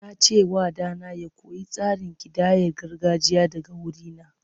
Na ce wa ɗana ya koyi tsarin kidayar gargajiya daga wurina.